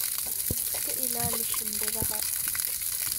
iska ilaali shimbiraha.